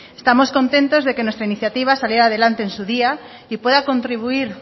estamos contentos de que nuestra iniciativa saliera adelante en su día y pueda contribuir